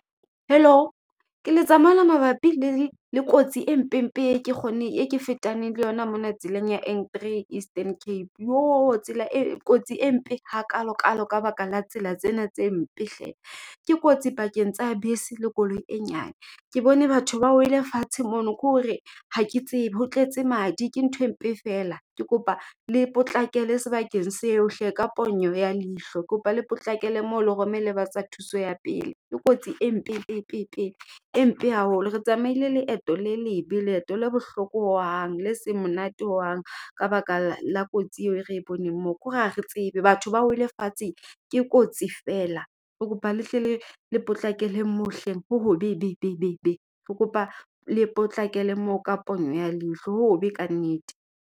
Hello. Ke letsa mona mabapi le kotsi e mpe mpe e ke kgone e ke fetaneng le yona mona tseleng ya N3, Eastern Cape. Joo! Tsela e kotsi e mpe hakalo kalo, ka baka la tsela tsena tse mpe hle! Ke kotsi pakeng tsa bese le koloi e nyane. Ke bone batho ba wele fatshe mono, ke hore ha ke tsebe. Ho tletse madi. Ke nthwe mpe feela. Ke kopa le potlakele sebakeng seo hle! Ka ponyo ya leihlo. Kopa le potlakele moo le romele ba tsa thuso ya pele. Ke kotsi empepepe e mpe haholo. Re tsamaile leeto le lebe, leeto le bohloko hohang, le seng monate hohang ka baka la kotsi eo e re boneng moo. Ke ho re ha re tsebe, batho ba wele fatshe ke kotsi fela. Ke kopa le hle le, le potlakele moo hleng. Ho hobebebebe, ke kopa le potlakele moo ka pono ya leihlo, ho hobe ka nnete.